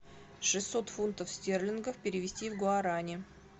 шестьсот фунтов стерлингов перевести в гуарани